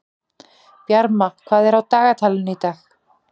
Bjarma, hvað er á dagatalinu í dag?